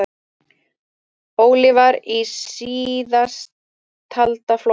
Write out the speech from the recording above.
Óli var í síðasttalda flokknum.